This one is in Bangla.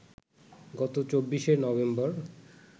গত ২৪শে নভেম্বর